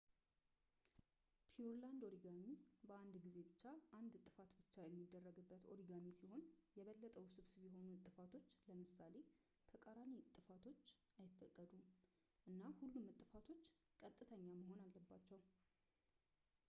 ፒውርላንድ ኦሪጋሚ በአንድ ጊዜ ብቻ አንድ እጥፋት ብቻ የሚደረግበት ኦሪጋሚ ሲሆን፣ የበለጠ ውስብስብ የሆኑ እጥፋቶች ለምሳሌ ተቃራኒ አጥፋቶች አይፈቀዱም፣ እና ሁሉም እጥፋቶች ቀጥተኛ መሆን አለባቸው